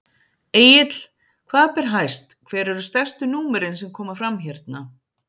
Egill, hvað ber hæst, hver eru stærstu númerin sem koma fram hérna?